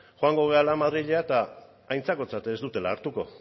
joango garela madrilera eta aintzakotzat ez dutela hartuko